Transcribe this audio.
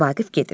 Vaqif gedir.